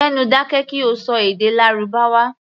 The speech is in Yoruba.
Gbé nu dákẹ́ kí o ṣọ èdè Lárúbáwá!